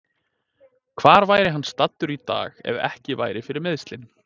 Hvar væri hann staddur í dag ef ekki væri fyrir meiðslin?